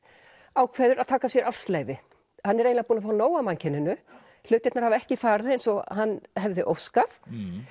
ákveður að taka sér ársleyfi hann er eiginlega búinn að fá nóg af mannkyninu hlutirnir hafa ekki farið eins og hann hefði óskað